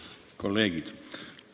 Head kolleegid!